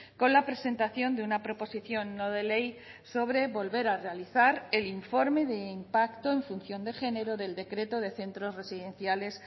con la presentación de una proposición no de ley sobre volver a realizar el informe de impacto en función de género del decreto de centros residenciales